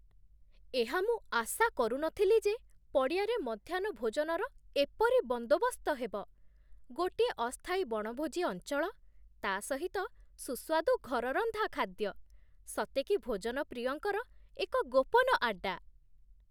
ଏହା ମୁଁ ଆଶା କରୁନଥିଲି ଯେ ପଡ଼ିଆରେ ମଧ୍ୟାହ୍ନ ଭୋଜନର ଏପରି ବନ୍ଦୋବସ୍ତ ହେବ, ଗୋଟିଏ ଅସ୍ଥାୟୀ ବଣଭୋଜି ଅଞ୍ଚଳ, ତା' ସହିତ ସୁସ୍ଵାଦୁ ଘରରନ୍ଧା ଖାଦ୍ୟ! ସତେକି ଭୋଜନପ୍ରିୟଙ୍କର ଏକ ଗୋପନ ଆଡ୍ଡା!